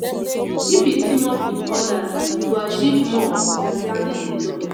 if you team up with others you go achieve more than standing alone.